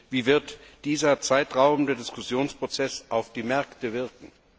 Wie wird dieser Zeitraum des Diskussionsprozesses auf die Märkte wirken?